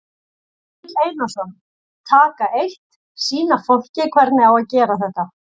Egill Einarsson: Taka eitt, sýna fólki hvernig á að gera þetta?